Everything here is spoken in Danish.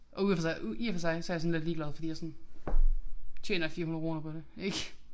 Og ud og for sig i og for sig så jeg sådan lidt ligeglad fordi jeg sådan tjener 400 kroner på det ik